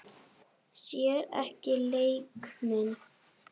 Sér ekki leik minn.